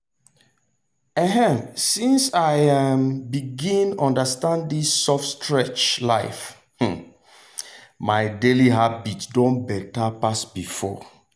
um since i um begin understand this soft stretch life um my daily habit don better pass before.